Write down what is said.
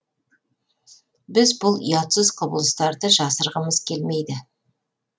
біз бұл ұятсыз құбылыстарды жасырғымыз келмейді